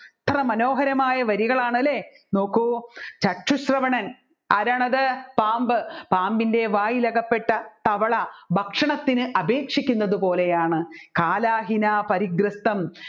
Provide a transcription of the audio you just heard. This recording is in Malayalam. എത്ര മനോഹരമായ വരികളാണ് അല്ലെ നോക്കു ചശ്രുഷവണൻ ആരാണത് പാമ്പ് പാമ്പിൻെറ വായിൽ അകപ്പെട്ട തവള ഭക്ഷണത്തിന് അപേക്ഷിക്കുന്നത് പോലെയാണ് കാലാഹിനാ പരിഗ്രസ്ഥം